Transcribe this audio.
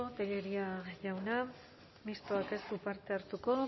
tellería jauna mistoa ez du parte hartuko